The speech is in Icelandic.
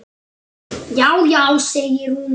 Já, já segir hún.